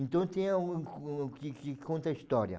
Então tem a um um que que conta a história.